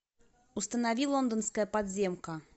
установи лондонская подземка